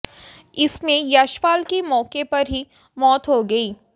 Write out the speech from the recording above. इसमें यशपाल की मौके पर ही मौत हो गई